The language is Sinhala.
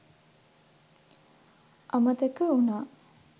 අමතක උනා.